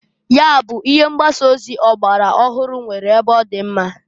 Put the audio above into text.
Nya bụ ihe mgbasa ozi ọgbara ọhụrụ nwere ebe ọdị mma.